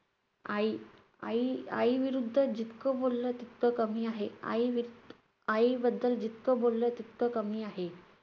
आई, आई~ आईविरुद्ध जितकं बोललं, तितकं कमी आहे. आईवित~ आईबद्दल जितकं बोललं, तितकं कमी आहे.